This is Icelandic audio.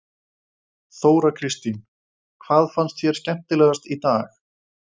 Þóra Kristín: Hvað fannst þér skemmtilegast í dag?